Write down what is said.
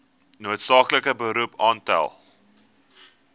noodsaaklike beroep aantal